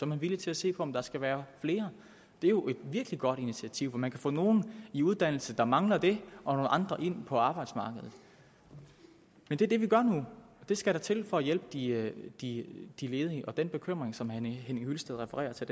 man villig til at se på om der skal være flere det er jo et virkelig godt initiativ for man kan få nogle i uddannelse der mangler det og nogle andre ind på arbejdsmarkedet men det er det vi gør nu og det skal der til for at hjælpe de ledige de ledige den bekymring som herre henning hyllested refererer til